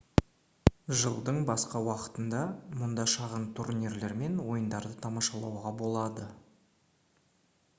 жылдың басқа уақытында мұнда шағын турнирлер мен ойындарды тамашалауға болады